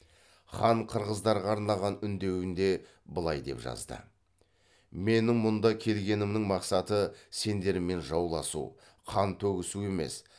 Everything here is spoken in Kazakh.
хан қырғыздарға арнаған үндеуінде былай деп жазды менің мұнда келгенімнің мақсаты сендермен жауласу қан төгісу емес